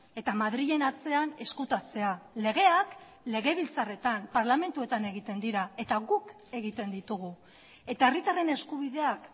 eta madrilen atzean ezkutatzea legeak legebiltzarretan parlamentuetan egiten dira eta guk egiten ditugu eta herritarren eskubideak